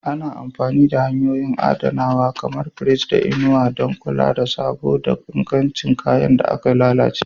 Ana amfani da hanyoyin adanawa kamar firiji da inuwa don kula da sabo da ingancin kayan da ke lalacewa.